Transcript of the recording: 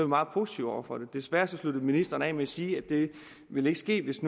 meget positive over for det desværre sluttede ministeren af med at sige at det ikke vil ske hvis